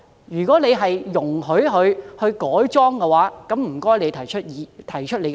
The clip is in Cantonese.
如果政府容許業主改裝，請提出理據。